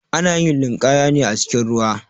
Ana yin linƙaya ne acikin ruwa.